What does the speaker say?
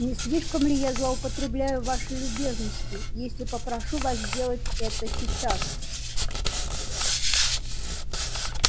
не слишком ли я злоупотреблю вашей любезностью если попрошу вас сделать это сейчас